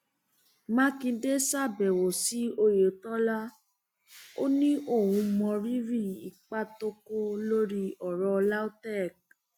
mákindé ṣàbẹwò sí oyetola ó ní òun mọrírì ipa tó kó lórí ọrọ lautech